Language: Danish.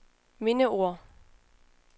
mindeord